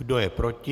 Kdo je proti?